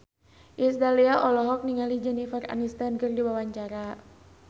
Iis Dahlia olohok ningali Jennifer Aniston keur diwawancara